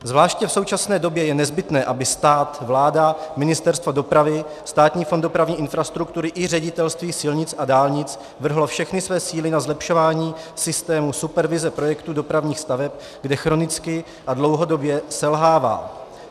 Zvláště v současné době je nezbytné, aby stát, vláda, Ministerstvo dopravy, Státní fond dopravní infrastruktury i Ředitelství silnic a dálnic vrhly všechny své síly na zlepšování systému supervize projektů dopravních staveb, kde chronicky a dlouhodobě selhávají.